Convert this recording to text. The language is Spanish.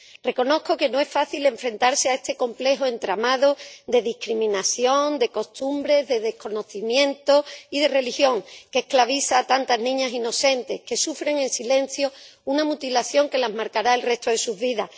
Reconozco que no es fácil enfrentarse a este complejo entramado de discriminación, de costumbres, de desconocimiento y de religión que esclaviza a tantas niñas inocentes que sufren en silencio una mutilación que las marcará el resto de su vida.